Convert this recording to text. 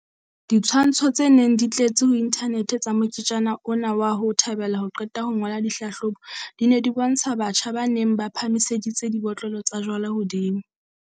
Ditshwantsho tse neng di tletse ho inthanete tsa moketjana ona wa ho thabela ho qeta ho ngola ditlhahlobo, di ne di bontsha batjha ba neng ba phahamiseditse dibotlolo tsa jwala hodimo.